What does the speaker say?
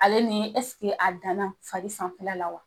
Ale ni a danna fari sanfɛla la wa